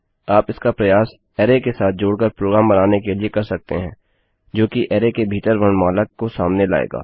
आप इसका प्रयास अरै के साथ जोड़ कर प्रोग्राम बनाने के लिए कर सकते हैं जो कि अरै के भीतर वर्णमाला को सामने लाएगा